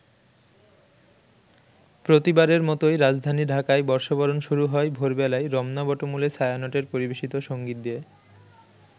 প্রতিবারের মতোই রাজধানী ঢাকায় বর্ষবরণ শুরু হয় ভোর বেলায় রমনা বটমূলে ছায়ানটের পরিবেশিত সঙ্গীত দিয়ে।